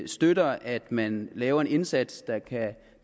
støtter at man laver en indsats